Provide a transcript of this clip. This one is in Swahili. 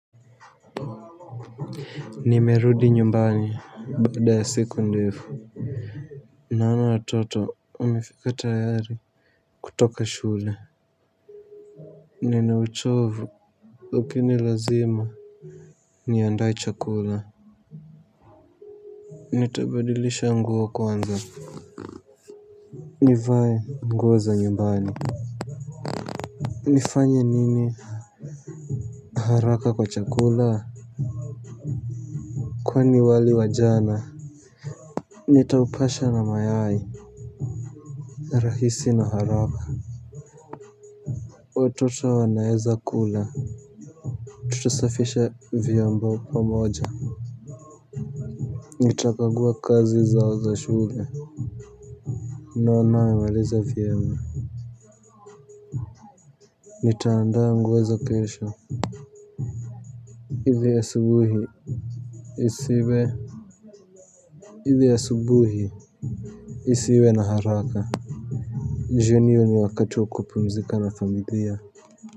Nimerudi nyumbani baada ya siku ndefu. Naona watoto wamefika tayari kutoka shule. Nina uchovu lakini lazima niandae chakula. Nitabadilisha nguo kwanza. Nivae nguo za nyumbani. Nifanye nini haraka kwa chakula. Kwani wali wa jana nitaupasha na mayai. Rahisi na haraka. Watoto wanaeza kula tutasafisha vyombo pamoja nitakagua kazi zao za shule naona wamemaliza vyema nitaandaa nguo za kesho ili asubuhi isiwe ili asubuhi isiwe na haraka jioni hio ni wakati wa kupumzika na familia.